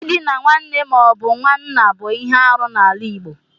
Ịdina nwanne mo but nwanna bụ ihe arụ n'ala Igbo.